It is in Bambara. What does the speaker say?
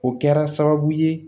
O kɛra sababu ye